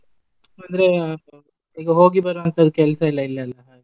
ಅಂದ್ರೆ ಈಗ ಹೋಗಿ ಬರುವಂತದ ಕೆಲ್ಸ ಇಲ್ಲ ಇಲ್ಲಿ ಎಲ್ಲ.